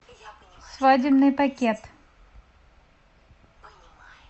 свадебный пакет